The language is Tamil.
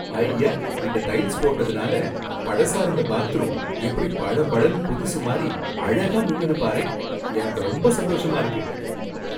ஹய்யா! இந்த டைல்ஸ் போட்டதுனால பழசா இருந்த பாத்ரூம் எப்படி பள பளன்னு புதுசு மாதிரி அழகா மின்னுது பாரேன், எனக்கு ரொம்ப சந்தோஷமா இருக்கு.